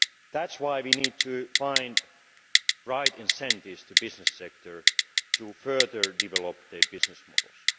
That is why we need to find the right incentives for the business sector to further develop their business models.